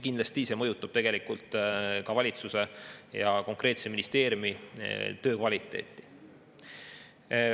Kindlasti see mõjutab tegelikult valitsuse ja konkreetse ministeeriumi töö kvaliteeti.